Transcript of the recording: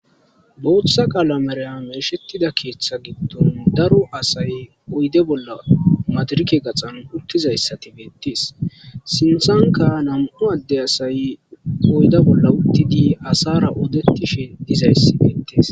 booththa qaala meraya meeshetida keeththa giddon daro asay oyde bolla madirike gaxan uttizayssati beettees sinthanka nam7u adde asay oyda bolla uttidi asara odettishin dizayssi beettees